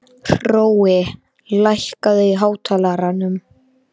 Hrói, lækkaðu í hátalaranum.